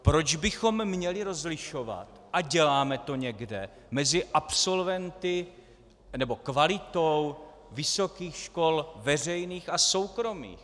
Proč bychom měli rozlišovat, a děláme to někde, mezi absolventy, nebo kvalitou vysokých škol veřejných a soukromých?